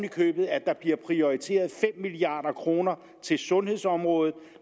i købet at der bliver prioriteret fem milliard kroner til sundhedsområdet